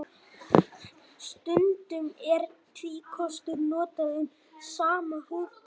Stundum er tvíkostur notað um sama hugtak.